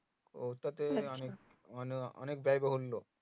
ওটাতে অনেক অনেক